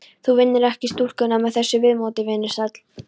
Þú vinnur ekki stúlkuna með þessu viðmóti, vinur sæll.